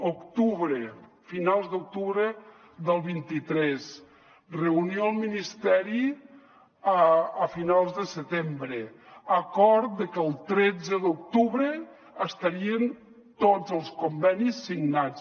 octubre finals d’octubre del vint tres reunió al ministeri a finals de setembre acord de que el tretze d’octubre estarien tots els convenis signats